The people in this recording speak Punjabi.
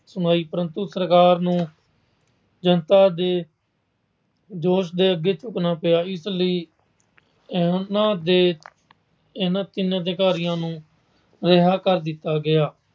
ਸੁਣਾਈ ਪਰੰਤੂ ਸਰਕਾਰ ਨੂੰ ਜਨਤਾ ਦੇ ਜੋਸ਼ ਦੇ ਅੱਗੇ ਝੁਕਣਾ ਪਿਆ। ਇਸ ਲਈ ਉਹਨਾਂ ਦੇ ਇਹਨਾਂ ਤਿੰਨ ਅਧਿਕਾਰੀਆਂ ਨੂੰ ਰਿਹਾਅ ਕਰ ਦਿੱਤਾ ਗਿਆ।